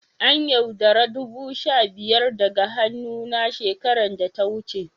An' yaudara dubu sha biyar daga hannu na shekaran da ta wuce.